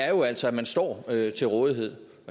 jo altså at man står til rådighed